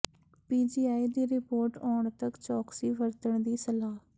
PGI ਦੀ report ਆਉਣ ਤਕ ਚੌਕਸੀ ਵਰਤਣ ਦੀ ਸਲਾਹ